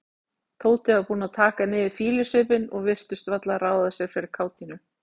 Tóti var búinn að taka niður fýlusvipinn og virtist varla ráða sér fyrir kátínu.